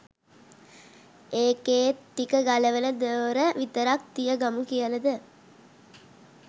එකේත්ටික ගලවල දොර විතරක් තිය ගමු කියලද?